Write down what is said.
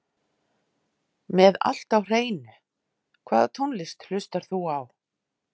Með allt á hreinu Hvaða tónlist hlustar þú á?